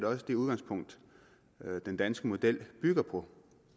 også det udgangspunkt den danske model bygger på